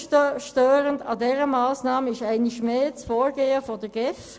Besonders störend an dieser Massnahme ist einmal mehr das Vorgehen der GEF.